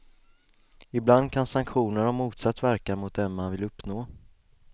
Ibland kan sanktioner ha motsatt verkan mot den man vill uppnå.